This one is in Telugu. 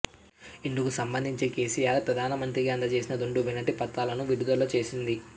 ఇందుకు సంబంధించి కేసీఆర్ ప్రధాన మంత్రికి అందజేసిన రెండు వినతి పత్రాలను విడుదల చేసింది